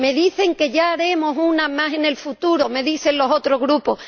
Me dicen que ya haremos una más en el futuro —me dicen los otros Grupos—.